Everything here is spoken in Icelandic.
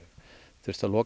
þurft að loka